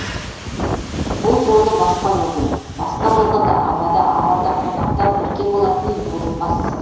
бұл жолы басқа өкіл басқа болғанда анада аралда қонақта бірге болатын бурыл бас